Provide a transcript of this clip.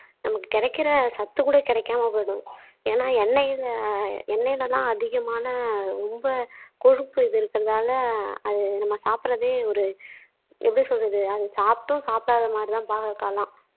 நமக்கு கிடைக்கிற சத்து கூட கிடைக்காம போயிடும் ஏன்னா எண்ணெய்ல எண்ணெய்ல தான் அதிகமான ரொம்ப கொழுப்பு இது இருக்கிறதால அது நம்ம சாப்பிடுறதே ஒரு எப்படி சொல்றது அது சாப்பிட்டும் சாப்புடாத மாறி தான் பாவக்காய் எல்லாம்